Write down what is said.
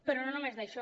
però no només això